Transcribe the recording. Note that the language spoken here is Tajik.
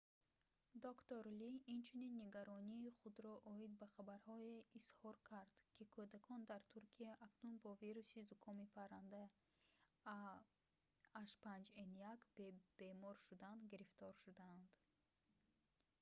доктор ли инчунин нигаронии худро оид ба хабарҳое изҳор кард ки кӯдакон дар туркия акнун бо вируси зукоми паранда ah5n1 бе бемор шудан гирифтор шудаанд